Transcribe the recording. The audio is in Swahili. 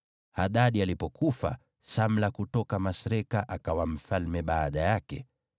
Hadadi alipofariki, Samla kutoka Masreka akawa mfalme baada yake.